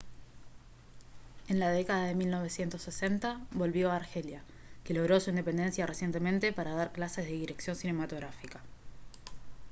en la década de 1960 volvió a argelia que logró su independencia recientemente para dar clases de dirección cinematográfica